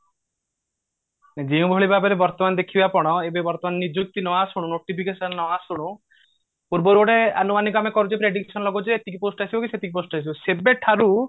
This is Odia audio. ଯେଉଁ ଭଳି ଭାବରେ ଦେଖିବେ ଆପଣ ଏବେ ବର୍ତମାନ ନିଯୁକ୍ତି ନ ଆଶୁଣୁ notification ନ ଆଶୁଣୁ ପୂର୍ବରୁ ଗୋଟେ ଆନୁମାନିକ କରିଛୁ prediction ଲାଗୋଉଛୁ ଏତିକି post ଆସିବ କି ସେତିକି post ଆସିବ ସେବେ ଠାରୁ